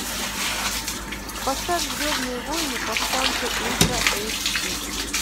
поставь звездные войны повстанцы ультра эйч ди